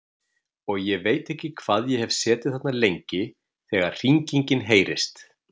Og ég veit ekki hvað ég hef setið þarna lengi þegar hringingin heyrist.